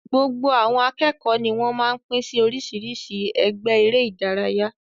Gbogbo àwọn akẹ́kọ̀ọ́ ní wọ́n máa ń pín sí oríṣiríṣi ẹgbẹ́ eré-idárayá.